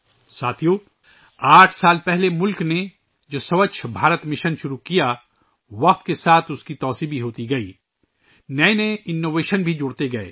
ساتھیو، ملک نے آٹھ سال پہلے ، جو ' سووچھ بھارت مشن ' شروع کیا تھا، وقت گزرنے کے ساتھ اس کی وسعت میں بھی اضافہ ہوا، نئی اختراعات بھی شامل ہوئیں